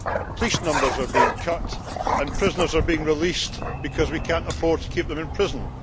Police numbers are being cut and prisoners are being released because we cannot afford to keep them in prison.